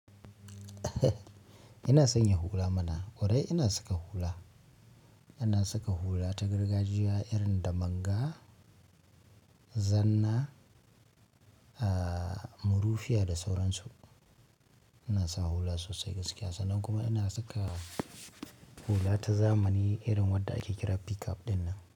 Ina sanya hula mana. Ƙwarai ina saka hula? Ina saka hula ta gargajiya irin da manga, zanna, aa murufiya da sauransu. Ina sawa hula sosai gaskiya sannan kuma ina saka hula ta zamani irin wadda ake kira picap ɗinnan.